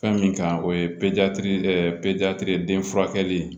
Fɛn min kan o ye den furakɛli